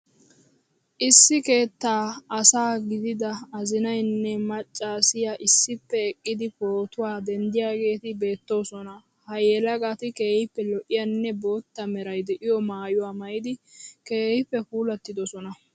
Issi keettaa asa gidida azinayinne maccaasiya issippe eqqidi pootuwa denddiyageeti beettoosona. Ha yelagati keehippe lo'iyanne bootta meray de'iyo maayuwa maayidi keehippe puulattidosona.